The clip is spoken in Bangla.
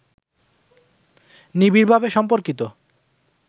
নিবিড়ভাবে সম্পর্কিত